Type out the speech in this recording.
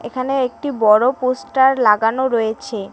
এখানে একটি বড়ো পোস্টার লাগানো রয়েছে।